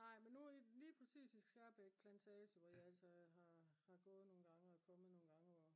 nej men lige præcis i Skjærbek plantage hvor jeg altså har gået nogle gange og kommet nogle gange